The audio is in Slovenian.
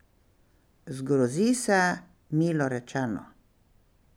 Zgrozi se, milo rečeno.